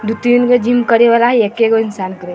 दू-तीन गो जिम करे वाला हई एकेगो इंसान करे।